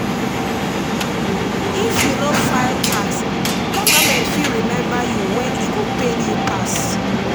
if you no file tax government fit remember you when e go pain you pass.